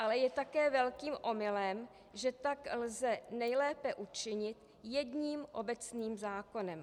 Ale je také velkým omylem, že tak lze nejlépe učinit jedním obecným zákonem.